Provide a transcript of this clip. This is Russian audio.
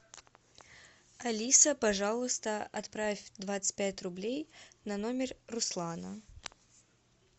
алиса пожалуйста отправь двадцать пять рублей на номер руслана